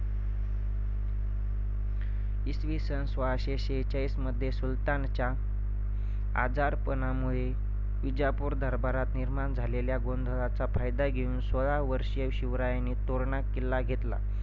इसवि सन सोळाशे सेहचाळीसमध्ये सुलतानाच्या आजारपणामुळे विजापूर दरबारात निर्माण झालेल्या गोंधळाचा फायदा घेऊन सोळा वर्षीय शिवरायांनी तोरणा किल्ला घेतला